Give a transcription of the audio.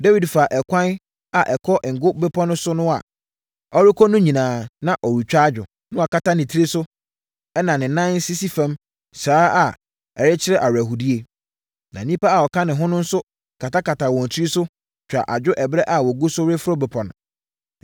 Dawid faa ɛkwan a ɛkɔ Ngo Bepɔ so no so a, ɔrekɔ no nyinaa, na ɔretwa adwo. Na wakata ne tiri so, ɛnna ne nan sisi fam saa ara a ɛkyerɛ awerɛhoɔdie. Na nnipa a wɔka ne ho no nso katakataa wɔn tiri so, twaa adwo ɛberɛ a wɔgu so reforo bepɔ no.